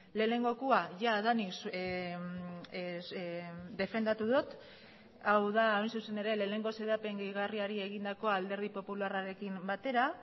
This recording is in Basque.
lehenengoa jadanik defendatu dut hau da hain zuzen ere lehenengo xedapen gehigarriari egindako alderdi popularrarekin batera